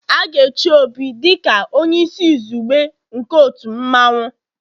A ga-echi Obi dị ka onye isi izugbe nke otu mmanwu